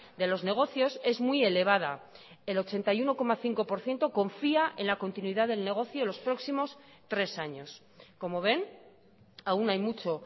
de los negocios es muy elevada el ochenta y uno coma cinco por ciento confía en la continuidad del negocio los próximos tres años como ven aún hay mucho